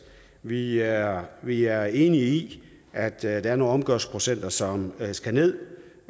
vi er vi er enige i at der er nogle omgørelsesprocenter som skal ned